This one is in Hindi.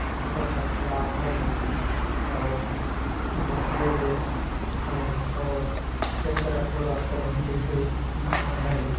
छोटा- सा तलाव है और उधर पेड़-वेड़ है और एक तरफ पूरा कॉलोनी जैसे घर हैं ।